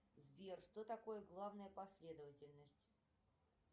сбер что такое главная последовательность